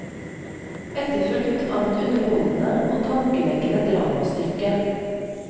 Etterfulgt av et underholdende og tankevekkende dramastykke.